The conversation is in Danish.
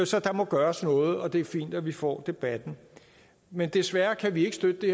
så der må gøres noget og det er fint at vi får debatten men desværre kan vi ikke støtte det